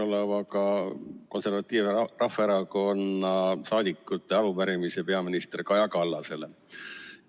'Esitan Konservatiivse Rahvaerakonna saadikute arupärimise peaminister Kaja Kallasele.